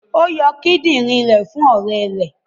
Ó yọ kidinrin rẹ̀ fún ọrẹ rẹ